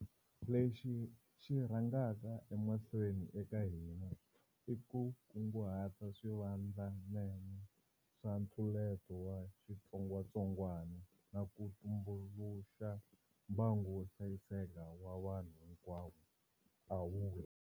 Lexi xi rhangaka emahlweni eka hina i ku kunguta swivandlanene swa ntluleto wa xitsongwa tsongwana na ku tumbuluxa mbangu wo hlayiseka wa vanhu hinkwavo, a vula.